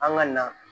An ka na